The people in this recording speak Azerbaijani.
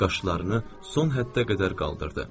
Qaşlarını son həddə qədər qaldırdı.